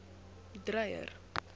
dreyer